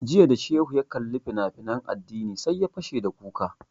Jiya da shehu ya kalli fina finan addini sai ya fashe da kuka